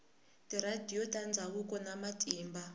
tiradiyo ta ndzhawu na matimba